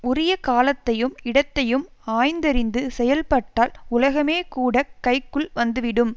உரிய காலத்தையும் இடத்தையும் ஆய்ந்தறிந்து செயல்பட்டால் உலகமேகூடக் கைக்குள் வந்துவிடும்